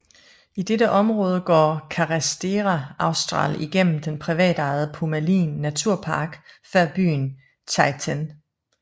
I dette område går Carretera Austral igennem den privatejede Pumalin naturpark før byen Chaiten